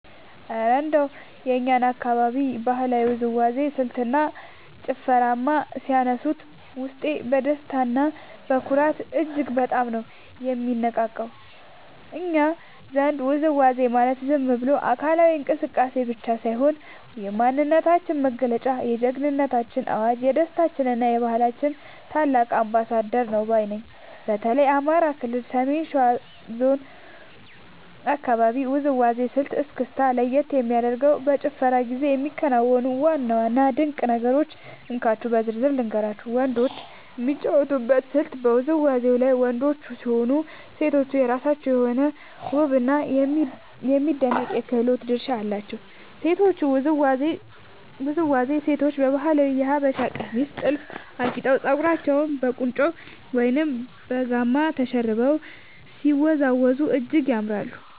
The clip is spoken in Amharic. እረ እንደው የእኛን አካባቢ የባህላዊ ውዝዋዜ ስልትና ጭፈርማ ሲያነሱት፣ ውስጤ በደስታና በኩራት እጅግ በጣም ነው የሚነቃቃው! እኛ ዘንድ ውዝዋዜ ማለት ዝም ብሎ አካላዊ እንቅስቃሴ ብቻ ሳይሆን፣ የማንነታችን መገለጫ፣ የጀግንነታችን አዋጅ፣ የደስታችንና የባህላችን ታላቅ አምባሳደር ነው ባይ ነኝ። በተለይ የአማራ ክልል የሰሜን ሸዋ አካባቢን የውዝዋዜ ስልት (እስክስታ) ለየት የሚያደርጉትንና በጭፈራው ጊዜ የሚከናወኑትን ዋና ዋና ድንቅ ነገሮች እንካችሁ በዝርዝር ልንገራችሁ፦ . ወንዶችና ሴቶች የሚጫወቱበት ስልት በውዝዋዜው ላይ ወንዶችም ሆኑ ሴቶች የየራሳቸው የሆነ ውብና የሚደነቅ የክህሎት ድርሻ አላቸው። የሴቶቹ ውዝዋዜ፦ ሴቶቻችን በባህላዊው የሀበሻ ቀሚስና ጥልፍ አጊጠው፣ ፀጉራቸውን በቁንጮ ወይም በጋማ ተሸርበው ሲወዝወዙ እጅግ ያምራሉ።